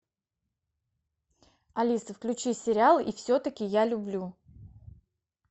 алиса включи сериал и все таки я люблю